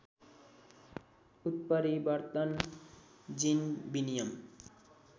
उत्परिवर्तन जिन विनिमय